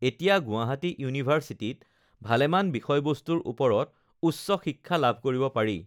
এতিয়া গুৱাহাটী ইউিভাৰ্চিটীত uhh ভালেমান বিষয় বস্তুৰ ওপৰত উচ্চ শিক্ষা লাভ কৰিব পাৰি